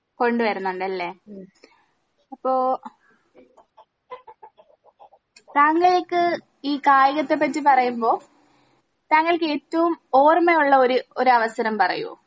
കൊണ്ട് വരുന്നുണ്ടല്ലേ അപ്പൊ താങ്കൾക്ക് ഈ കായികത്തെ പറ്റി പറയ്മ്പോ താങ്കൾക്ക് ഏറ്റോം ഓർമയുള്ള ഒര് ഒരവസരം പറയോ?